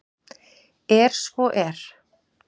er svo er